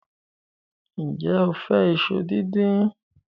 Ǹjẹ́ o fẹ́ iṣu díndín?